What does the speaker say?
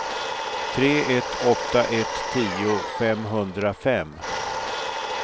tre ett åtta ett tio femhundrafem